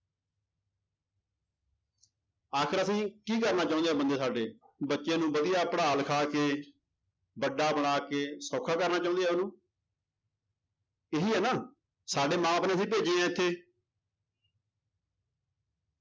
ਆਖ਼ਿਰ ਅਸੀਂ ਕੀ ਕਰਨਾ ਚਾਹੁੰਦੇ ਆ ਬੰਦੇ ਸਾਡੇ, ਬੱਚਿਆਂ ਨੂੰ ਵਧੀਆ ਪੜ੍ਹਾ ਲਿਖਾ ਕੇ, ਵੱਡਾ ਬਣਾ ਕੇ ਸੌਖਾ ਕਰਨਾ ਚਾਹੁੰਦੇ ਆ ਉਹਨੂੰ ਇਹੀ ਹੈ ਨਾ ਸਾਡੇ ਮਾਂ ਬਾਪ ਨੇ ਹੀ ਭੇਜੇ ਹੈ ਇੱਥੇ।